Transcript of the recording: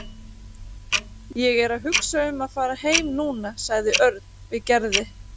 Ég er að hugsa um að fara heim núna sagði Örn við Gerði.